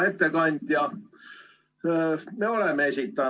Hea ettekandja!